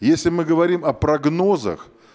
если мы говорим о прогнозах